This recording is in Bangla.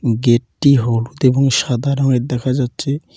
গেট -টি হলুদ এবং সাদা রঙের দেখা যাচ্ছে।